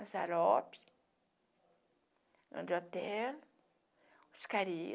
A Zarope, André Otero, Oscarito.